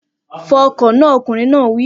Fọ ọkọ̀ náà! Ọkùnrin náà wí